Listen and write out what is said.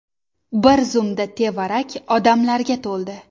Bir zumda tevarak odamlarga to‘ldi.